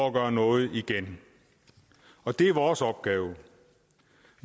at gøre noget igen og det er vores opgave